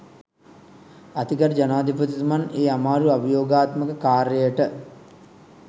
අතිගරු ජනාධිපතිතුමන් ඒ අමාරු අභියෝගාත්මක කාර්යයට